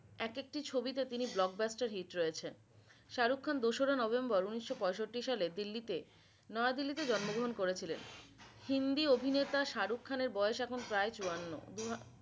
এক একটি ছবিতে তিনি blockbuster hit রয়েছে। শাহরুক খান দুশরা নভেম্বর উনিশো পঁয়ষট্রি সালে দিল্লিতে নয়াদিল্লিতে জন্ম গ্রহন করেছিলেন। হিন্দি অভিনেতা শাহরুখ খানের বয়স এখন প্রায় চুয়ান্ন